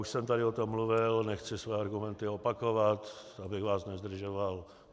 Už jsem tady o tom mluvil, nechci své argumenty opakovat, abych vás nezdržoval.